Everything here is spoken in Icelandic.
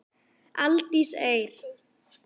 Aldís Eir.